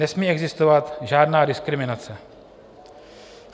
Nesmí existovat žádná diskriminace.